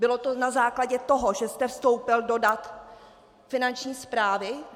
Bylo to na základě toho, že jste vstoupil do dat Finanční správy?